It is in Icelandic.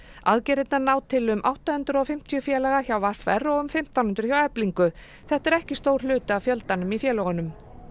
aðgerðirnar ná til um átta hundruð og fimmtíu félaga hjá v r og um fimmtán hundruð hjá Eflingu þetta er ekki stór hluti af fjöldanum í félögunum